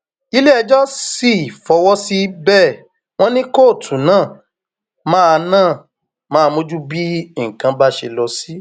iléẹjọ sì fọwọ sí i bẹẹ wọn ní kóòtù náà máa náà máa mójútó bí nǹkan bá ṣe lọ sí